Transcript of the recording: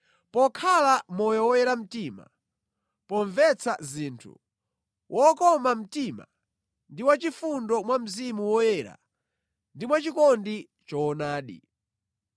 pokhala moyo woyera mtima, pomvetsa zinthu, wokoma mtima ndi wachifundo mwa Mzimu Woyera ndi mwachikondi choonadi